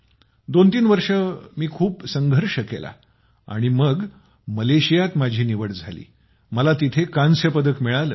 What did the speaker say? दोन तीन वर्षे मी खूप संघर्ष केला आणि मलेशियात माझी निवड झाली मला तिथे कांस्य पदक मिळाले